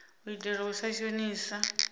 u itela u sa shonisa